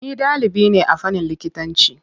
Ni ɗalibi ne a fannin likitanci.